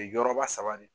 Ye yɔrɔba saba de